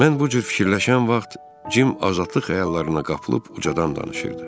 Mən bu cür fikirləşən vaxt Cim azadlıq xəyallarına qapılıb ucadan danışırdı.